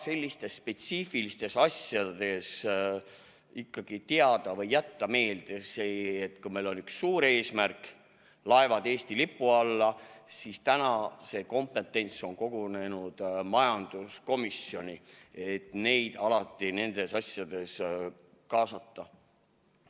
Selliste spetsiifiliste teemade puhul võiks ikkagi teada, et kui meil on üks suur eesmärk laevad Eesti lipu alla saada, siis see kompetents on kogunenud majanduskomisjoni ja neid võiks alati nendes asjades kaasata.